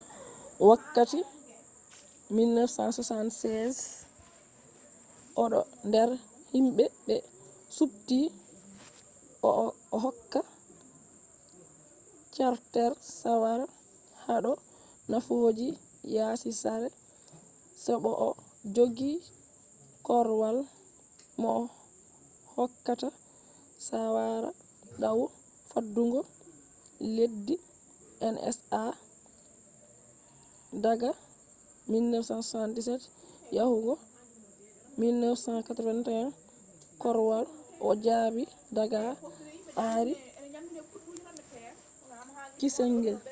wakkati 1976 odo der himbe be supti o'hokka carter saawara hado nafooji yasi sare se bo o jogi korwal mohokkata saawara dau faddungo leddi nsa daga 1977 yahugo 1981 korwal o jabi daga henry kissinger